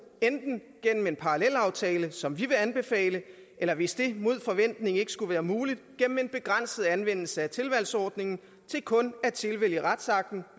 enten igennem en parallelaftale som vi vil anbefale eller hvis det mod forventning ikke skulle være muligt igennem en begrænset anvendelse af tilvalgsordningen til kun at tilvælge retsakten